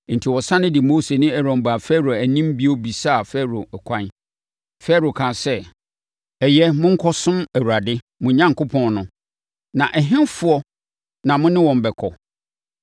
Enti, wɔsane de Mose ne Aaron baa Farao anim bio bɛbisaa Farao ɛkwan. Farao kaa sɛ, “Ɛyɛ, monkɔsom Awurade, mo Onyankopɔn no. Na ɛhefoɔ na mo ne wɔn bɛkɔ?”